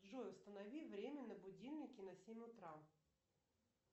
джой установи время на будильнике на семь утра